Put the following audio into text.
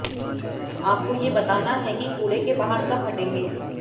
आपको ये बताना है कि कूड़े के पहाड़ कब हटेंगे